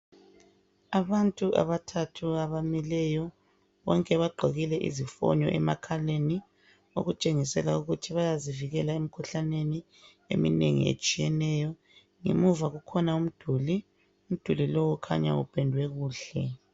Abantu abathathu abamileyo, bonke bagqokile izifonyo emakhaleni okutshengisela ukuthi bayazivikela emikhuhlaneni eminengi etshiyeneyo. Ngemuva kukhona umduli, umduli lo ukhanya upendwe kuhle.